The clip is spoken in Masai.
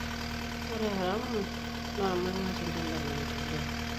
Ore haramu naa ormang'atinda le maendeleo.